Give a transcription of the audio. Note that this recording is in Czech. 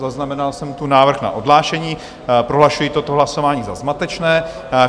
Zaznamenal jsem tu návrh na odhlášení, prohlašuji toto hlasování za zmatečné.